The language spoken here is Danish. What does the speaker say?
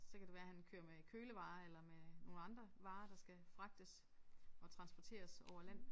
Så kan det være han kører med kølevarer eller med nogle andre varer der skal fragtes og transporteres over land